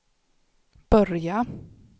börja